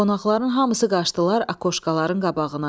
Qonaqların hamısı qaçdılar akoşkaların qabağına.